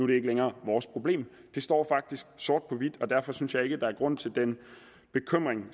det ikke længere vores problem det står faktisk sort på hvidt og derfor synes jeg ikke at der er grund til den bekymring